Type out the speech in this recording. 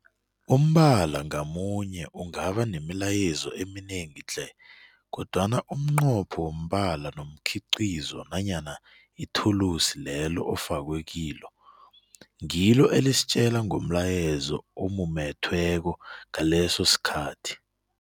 Umbala ngamunye ungaba nemilayezo eminengi tle, kodwana umnqopho wombala nomkhiqizo nanyana ithulusi lelo ofakwe kilo, ngilo elisitjela ngomlayezo ewumumethweko ngaleso sikhathi.